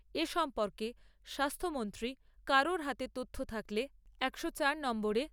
এ সম্পর্কে স্বাস্থ্যমন্ত্রী কারোর হাতে তথ্য থাকলে একশো চার নম্বরে